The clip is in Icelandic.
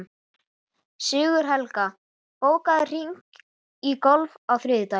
Sigurhelga, bókaðu hring í golf á þriðjudaginn.